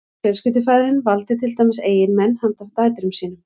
fjölskyldufaðirinn valdi til dæmis eiginmenn handa dætrum sínum